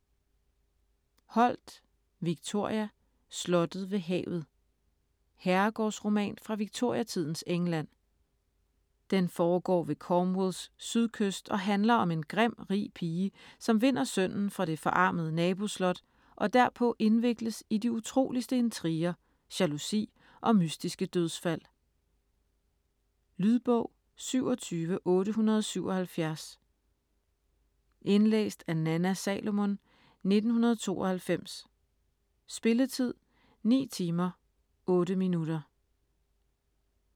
Holt, Victoria: Slottet ved havet Herregårdsroman fra victoriatidens England. Den foregår ved Cornwalls sydkyst og handler om en grim, rig pige, som vinder sønnen fra det forarmede naboslot og derpå indvikles i de utroligste intriger, jalousi og mystiske dødsfald. Lydbog 27877 Indlæst af Nanna Salomon, 1992. Spilletid: 9 timer, 8 minutter.